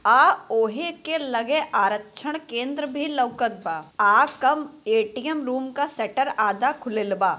आ ओहि के लगे आरक्षण केंद्र भी लउकत बा। आपन ए_टी_एम का शट्टर आधा खुलल बा।